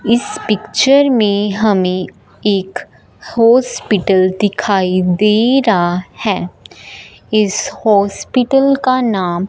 इस पिक्चर में हमें एक हॉस्पिटल दिखाई दे रहा है इस हॉस्पिटल का नाम--